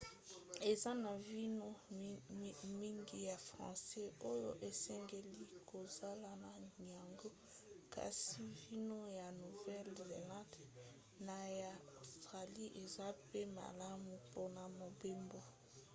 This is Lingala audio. eza na vino mingi ya france oyo esengeli kozala na yango kasi vino ya nouvelle-zelande na ya australie eza mpe malamu mpona mobembo